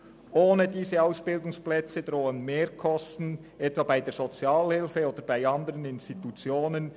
Ohne diese Ausbildungsplätze drohen Mehrkosten, etwa bei der Sozialhilfe oder bei anderen Institutionen.